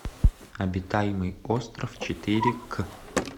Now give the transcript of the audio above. обитаемый остров четыре к